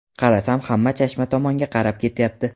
Qarasam, hamma Chashma tomonga qarab ketyapti.